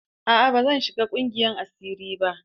A'a, ban shiga ƙungiyar asiri ba.